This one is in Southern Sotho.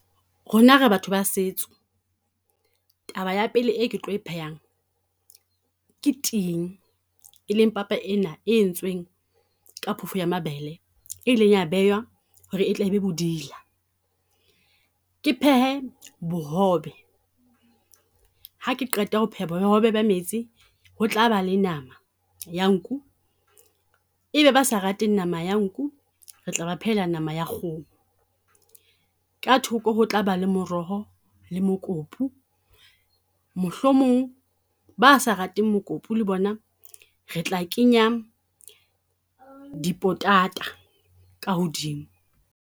Rona re batho ba setso, taba ya pele e ke tlo e phehang ke ting. E leng papa ena e entsweng ka phofo ya mabele, e ileng ya bewa ho re e tle e be bodila. Ke phehe bohobe, ha ke qeta ho pheha bobebe ba metsi ho tlaba le nama ya nku. Ebe ba sa rateng nama ya nku, re tla ba phehela nama ya kgoho, ka thoko ho tla ba le moroho le mokopu. Mohlomong ba sa rateng mokopi le bona re tla kenya dipotata ka hodimo.